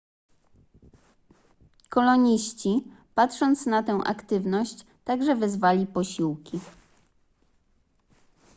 koloniści patrząc na tę aktywność także wezwali posiłki